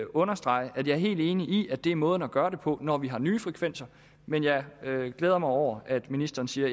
understrege at jeg er helt enig i at det er måden at gøre det på når vi har nye frekvenser men jeg glæder mig over at ministeren siger